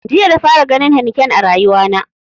Jiya na fara ganin heineken a rayuwa na